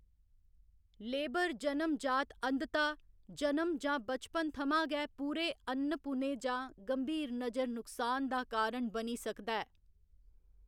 Labour जनम जात अंधता जन्म जां बचपन थमां गै पूरे अ'न्नपुने जां गंभीर नजर नुक्सान दा कारण बनी सकदा ऐ।